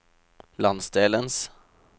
landsdelens